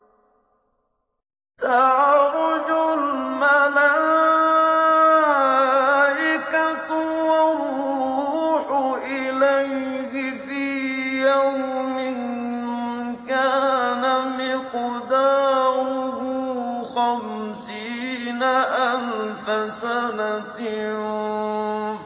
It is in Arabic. تَعْرُجُ الْمَلَائِكَةُ وَالرُّوحُ إِلَيْهِ فِي يَوْمٍ كَانَ مِقْدَارُهُ خَمْسِينَ أَلْفَ سَنَةٍ